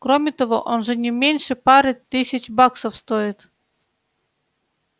кроме того он же не меньше пары тысяч баксов стоит